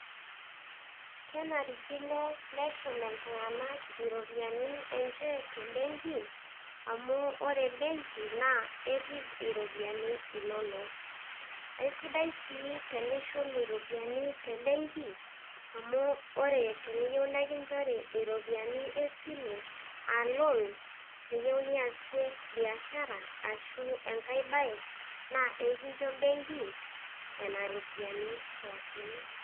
Kenarikino neshum iltung'anak iropiani enje te mbenki amu ore embenki erip iropiani inonok. Aisidai sii tenishum ropiani te mbenki amu ore teniyeu nenkinjori ropiani esile a loan, niyeu niasie biashara ashu enkae baye naa ekincho benki nena ropiani pookin.